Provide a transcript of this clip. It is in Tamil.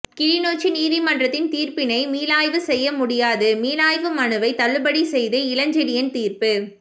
கிளிநொச்சி நீதிமன்றத்தின் தீர்ப்பினை மீளாய்வு செய்யமுடியாது மீளாய்வு மனுவைத் தள்ளுபடி செய்து இளஞ்செழியன் தீர்ப்பு